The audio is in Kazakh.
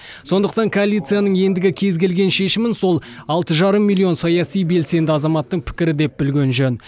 сондықтан коалицияның ендігі кез келген шешімін сол алты жарым миллион саяси белсенді азаматтың пікірі деп білген жөн